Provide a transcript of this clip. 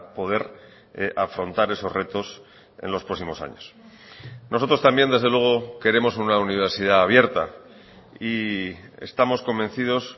poder afrontar esos retos en los próximos años nosotros también desde luego queremos una universidad abierta y estamos convencidos